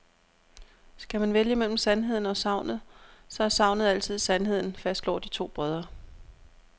Skal man vælge mellem sandheden og sagnet, så er sagnet altid sandheden, fastslår de to brødre.